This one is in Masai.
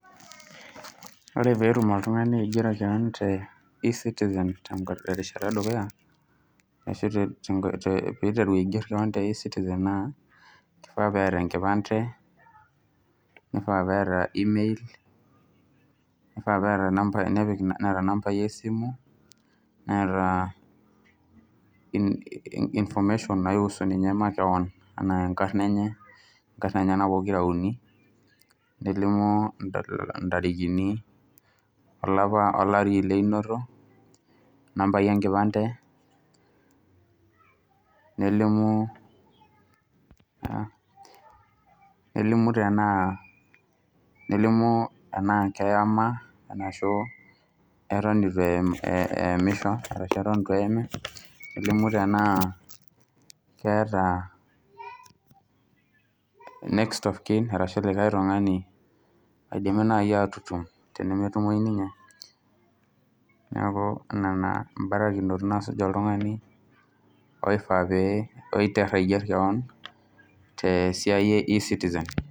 Pre peetum oltungani aigero keon te ecitizen terishata edukuya ashu te peitaru aiger keon te ecitizen naa keifaa peeta enkipande, neifaa peeta email neifaa peeta nambai esimu, neeta information naihusu nimye makeon anaa enkarna enye, inkarin enye pokira uni ,nelimu intarikini ,olapa olari leinoto nambai enkipande nelimuu, nelimu tenaa nelimu enaa keyema tana ashu eton eitu eemisho, ashu eton emeema, nelimu tenaa keeta next of kin arashu likae tungani oidimi naii aatutum tenemetumoi nimye, naaku nena imbarakinot naasujaki oltungani oifaa pee pitó aigerr keon te siai e ecitizen.